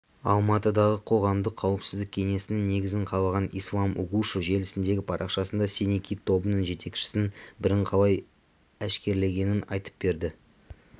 алматыдағы қоғамдық қауіпсіздік кеңесінің негізін қалаған ислам угушев желісіндегі парақшасында синий кит тобының жетекшісінің бірін қалай әшкерелегенін айтып берді